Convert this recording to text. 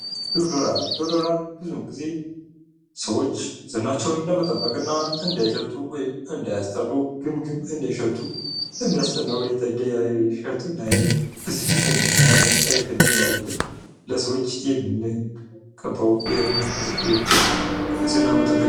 ዶዶራንት ። ዶዶራንት ብዙ ጊዜ ሰዎች ዝናቸውን ለመጠበቅ እና እንዳይሸቱ ወይም እንዳያስጠሉ ግም ግም እንዳይሸቱ በሚያስጠላ ሁኔታ እንዳይሸቱ እና የሆነ ብስጭት እና መፀየፍ እንዳይኖርብን ለሰዎች የምንቀበው የንፅህና መጠበቂያ ።